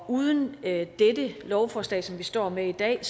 uden dette lovforslag som vi står med i dag